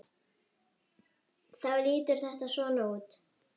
Þá lítur þetta svona út